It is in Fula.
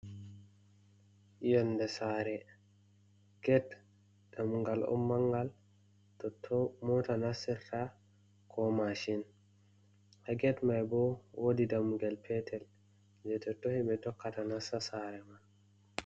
Yonɗe sare. Get ɗamugal on mangal, totto mota nasirta, ko mashin. Ha get mai ɓo woɗi ɗamugal petel, je to totto hiɓɓe tokkata nassa sare man.